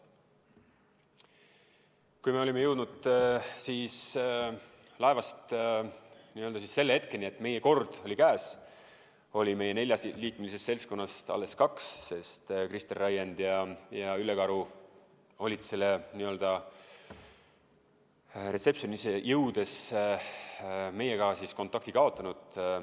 Kui me olime jõudnud laevas selle hetkeni, et meie kord oli käes, oli meie neljaliikmelisest seltskonnast alles kaks, sest Kristjan Raiend ja Ülle Karu olid reception’i jõudes meiega kontakti kaotanud.